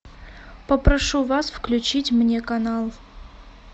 попрошу вас включить мне канал